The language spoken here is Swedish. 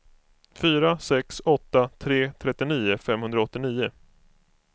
fyra sex åtta tre trettionio femhundraåttionio